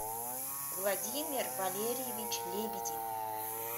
владимир валерьевич лебедев